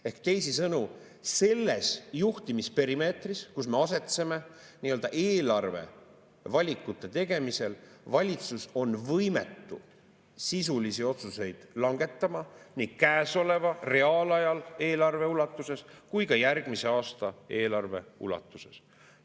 Ehk teisisõnu, selles juhtimisperimeetris, kus me asetseme, nii-öelda eelarve valikute tegemisel valitsus on võimetu sisulisi otsuseid langetama nii reaalajas käesoleva eelarve ulatuses kui ka järgmise aasta eelarve ulatuses.